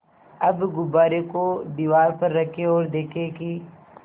अब गुब्बारे को दीवार पर रखें ओर देखें कि